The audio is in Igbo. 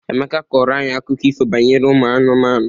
Emeka kọrọ anyị akụkọ ifo banyere ụmụ anụmanụ.